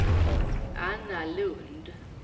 Anna Lundh